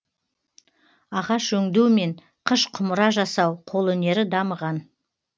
ағаш өңдеу мен қыш құмыра жасау қолөнері дамыған